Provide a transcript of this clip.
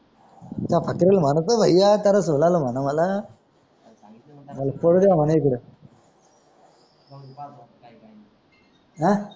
ह